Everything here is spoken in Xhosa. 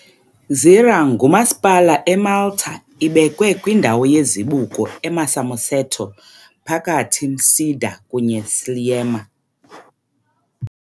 Gżira ngumasipala eMalta ibekwe kwindawo yezibuko eMarsamusetto phakathi Msida kunye Sliema.